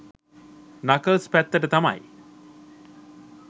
Knuckles පැත්තට තමයි.